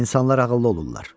İnsanlar ağıllı olurlar.